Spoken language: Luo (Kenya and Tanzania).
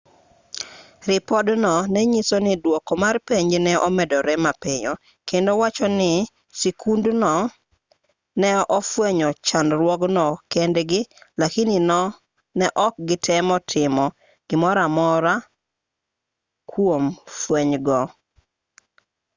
ripod-no nenyiso ni duoko mar penj ne omedore mapiyo kendo wacho ni skundno ne ofwenyo chandruokgo kendgi lakini ne ok gitemo timo gimoramora kuom fwenygo